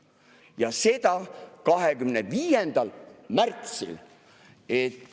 Ja see oli 25. märtsil.